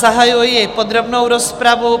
Zahajuji podrobnou rozpravu.